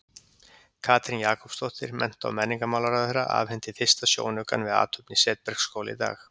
Katrín Jakobsdóttir, mennta- og menningarmálaráðherra, afhenti fyrsta sjónaukann við athöfn í Setbergsskóla í dag.